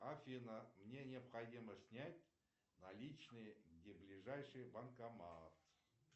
афина мне необходимо снять наличные где ближайший банкомат